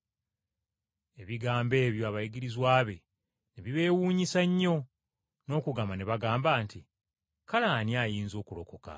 Ebigambo ebyo abayigirizwa be ne bibeewuunyisa nnyo, n’okugamba ne bagamba nti, “Kale ani ayinza okulokolebwa?”